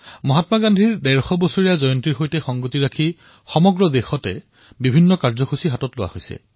মহাত্মা গান্ধীৰ ১৫০তম জয়ন্তী বৰ্ষত দেশজুৰি বহু কাৰ্যসূচী অনুষ্ঠিত হৈছে